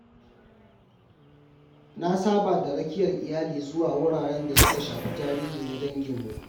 Na saba da rakiyar iyali zuwa wuraren da suka shafi tarihi na danginmu.